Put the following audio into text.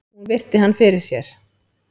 Hún virti hann fyrir sér.